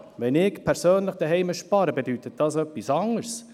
Wenn ich persönlich zu Hause spare, dann bedeutet das etwas anderes.